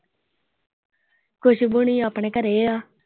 ਖੁਸ਼ਬੂ ਹੋਣੀ ਆਪਣੇ ਘਰੇ ਆ।